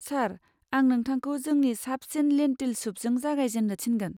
सार, आं नोंथांखौ जोंनि साबसिन लेन्टिल सुपजों जागायजेन्नो थिनगोन।